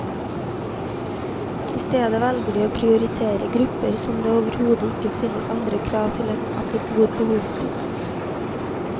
I stedet velger de å prioritere grupper som det overhodet ikke stilles andre krav til enn at de bor på hospits.